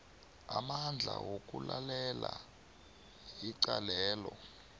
amandla wokulalela icalelo